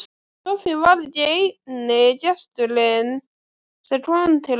Soffía var ekki eini gesturinn sem kom til Önnu.